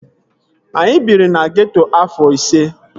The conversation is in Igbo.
Anyị biri na geeto afọ ise